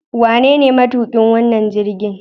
Wanene matuƙin wannan jirgin?